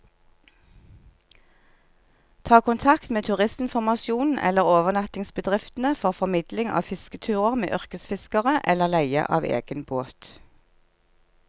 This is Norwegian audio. Ta kontakt med turistinformasjonen eller overnattingsbedriftene for formidling av fisketurer med yrkesfiskere, eller leie av egen båt.